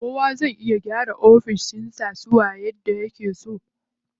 Kowa zai iya gyara ofishin sa suwa yadda yake so.